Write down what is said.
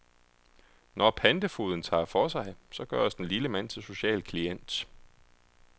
Når pantefogeden tager for sig, så gøres den lille mand til social klient.